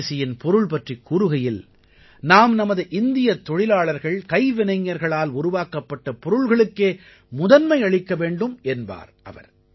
சுதேசியின் பொருள் பற்றிக் கூறுகையில் நாம் நமது இந்தியத் தொழிலாளர்கள்கைவினைஞர்களால் உருவாக்கப்பட்ட பொருள்களுக்கே முதன்மை அளிக்க வேண்டும் என்பார் அவர்